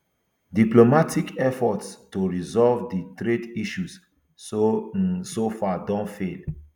diplomatic efforts to resolve di trade issues so um far don fail